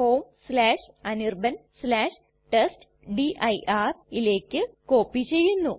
homeanirbantestdirയിലേക്ക് copy ചെയ്യുന്നു